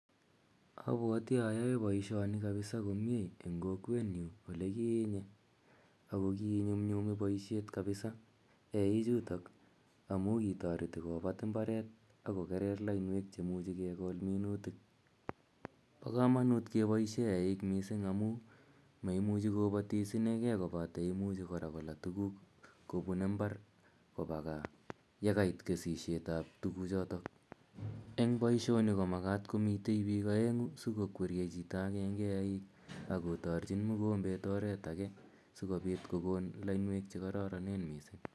Apwati ayae poishoni kapisa komye en kowenyun ole kinye. Ako kiinyumnyumi poishet kapisa eichutok amu kitareti kopat imbaret ak kokere lainwek che imuchi kekol minutik. Pa kamanut kepaishe eik missing' amu maimuchi kopatis inegei kpate imuchi kora kola tuguk kopun imbar kopa gaa ye kait kesishet ap tuguchotok. Eng' poishoni ko makat komitei piik aeng'u asiko kweriei piik aeng'u asikokweriei chito agenge eeik ak kotarchin mukombet oret age asikopit kokon lainwek che kararanen missing'.